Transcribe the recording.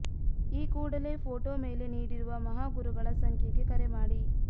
ಈ ಕೂಡಲೇ ಫೋಟೋ ಮೇಲೆ ನೀಡಿರೋ ಮಹಾ ಗುರುಗಳ ಸಂಖ್ಯೆಗೆ ಕರೆ ಮಾಡಿ